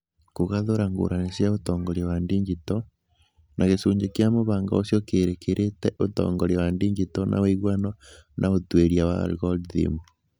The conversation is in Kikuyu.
Kũgathũra ngũrani cia ũtongoria wa digito, na gĩcunjĩ kĩa mũbango ũcio kĩrĩkĩrĩte ũtongoria wa digito na ũiguano na ũtuĩria wa algorithm.